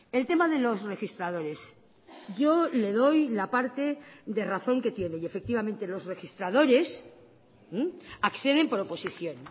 el tema de los registradores yo le doy la parte de razón que tiene y efectivamente los registradores acceden por oposición